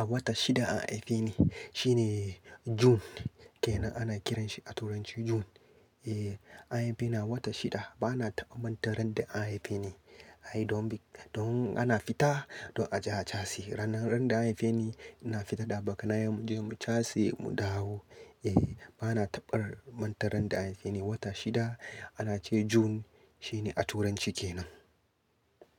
A wata shida an haife ni shine June ke nan ana kiranshi a turanci June. Eh an haife ni a wata shida bana taɓa manta ran da an haife ni. Ai don biyu don ana fita don a je a cashe. Ranar da an haife ni ina fita da abokanaye mu je mu cashe mu dawo. Eh bana taɓa manta ran da an haife ni wata shida ana ce June shine a turanci ke nan.